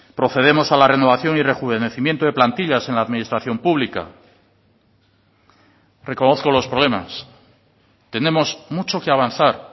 procedemos a la renovación y rejuvenecimiento de plantillas en la administración pública reconozco los problemas tenemos mucho que avanzar